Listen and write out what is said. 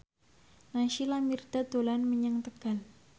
Naysila Mirdad dolan menyang Tegal